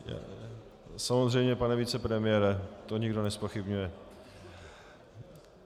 Samozřejmě, pane vicepremiére, to nikdo nezpochybňuje.